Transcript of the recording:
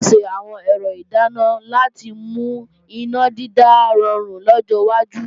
A ò ṣe àwọn ẹ̀rọ ìdáná láti mú iná dídá rọrùn lọ́jọ́ wájú